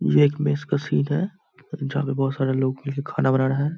ये एक मेस का सीन है जहाँ पे बहुत सारे लोग मिल के खाना बना रहें हैं।